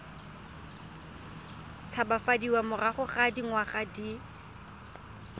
tshabafadiwa morago ga dingwaga di